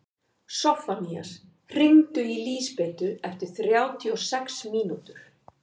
Soffanías, hringdu í Lísabetu eftir þrjátíu og sex mínútur.